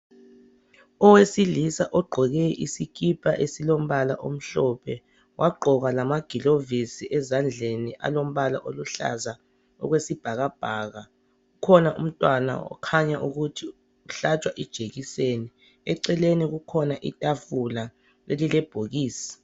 owesilisa ogqoke isikipa esilombala omhlophe wagqoka lamagilovisi ezandleni alombala oluhlaza okwesibhakabhaka kukhona umntwana okhanya ukuthi uhlatshwa ijekiseni eceleni kukhona itafula elilebhokisi